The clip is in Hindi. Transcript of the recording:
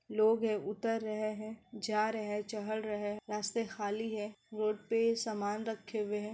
लोग है उतर रहे हैं चढ़ रहे हैं रास्ते खाली है रोड पे सामान रखे हुए हैं।